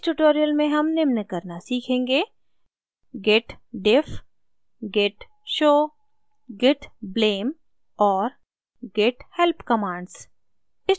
इस tutorial में हम निम्न करना सीखेंगे: